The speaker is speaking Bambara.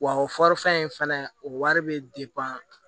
Wa o fɔrifɛn in fɛnɛ o wari be